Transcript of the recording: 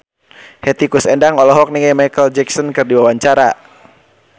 Hetty Koes Endang olohok ningali Micheal Jackson keur diwawancara